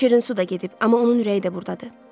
Şirinsu da gedib, amma onun ürəyi də burdadır.